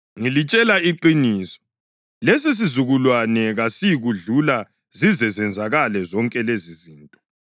Ngilitshela iqiniso, lesisizukulwane kasiyikudlula zize zenzakale zonke lezizinto.